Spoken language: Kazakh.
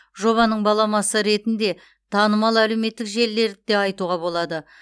жобаның баламасы ретінде танымал әлеуметтік желілерді де айтуға болады